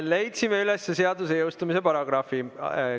Leidsime üles seaduse jõustumise paragrahvi.